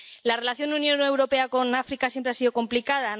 La relación de la Unión Europea con África siempre ha sido complicada.